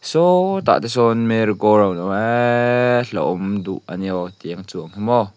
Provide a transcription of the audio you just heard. sawtawh te sawn mary go round a awm a eeee hlauhawm duh ania aw tianga chuan hi maw.